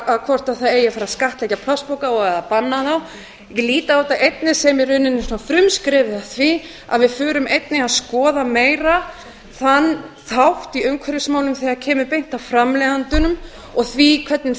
það eigi að fara að skattleggja plastpoka og eða banna þá ég lít á þetta einnig sem í rauninni svona frumskrefið að því að við förum einnig að skoða meira þann þátt í umhverfismálum þegar kemur beint að framleiðendunum og því hvernig